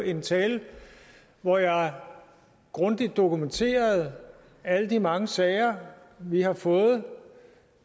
en tale hvor jeg grundigt dokumenterede alle de mange sager vi har fået